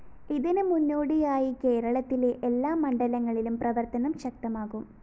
ഇതിന് മുന്നോടിയായി കേരളത്തിലെ എല്ലാ മണ്ഡലങ്ങളിലും പ്രവര്‍ത്തനം ശക്തമാക്കും